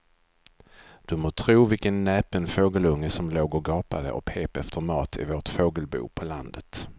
Du må tro vilken näpen fågelunge som låg och gapade och pep efter mat i vårt fågelbo på landet.